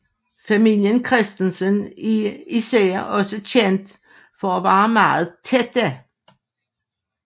Familien Christensen er især også kendt for at være meget tætte